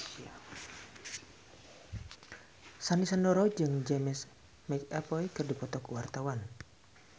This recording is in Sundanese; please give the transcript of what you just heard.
Sandy Sandoro jeung James McAvoy keur dipoto ku wartawan